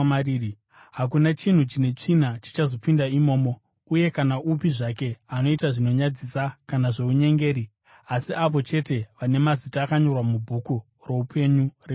Hakuna chinhu chine tsvina chichazopinda imomo, uye kana upi zvake anoita zvinonyadzisa kana zvounyengeri, asi avo chete vana mazita akanyorwa mubhuku roupenyu reGwayana.